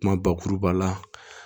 Kuma bakuruba la